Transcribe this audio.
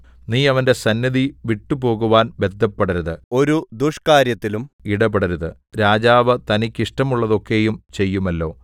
നീ അവന്റെ സന്നിധി വിട്ടുപോകുവാൻ ബദ്ധപ്പെടരുത് ഒരു ദുഷ്കാര്യത്തിലും ഇടപെടരുത് രാജാവ് തനിക്ക് ഇഷ്ടമുള്ളതൊക്കെയും ചെയ്യുമല്ലോ